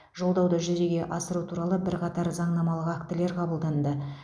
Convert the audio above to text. жолдауды жүзеге асыру туралы бірқатар заңнамалық актілер қабылданды